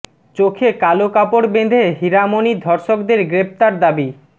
চোখে কালো কাপড় বেঁধে হীরা মণির ধর্ষকদের গ্রেফতার দাবি